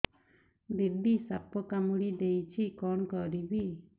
ଦିଦି ସାପ କାମୁଡି ଦେଇଛି କଣ କରିବି